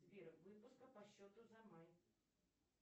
сбер выписка по счету за май